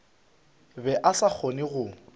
be a sa kgone go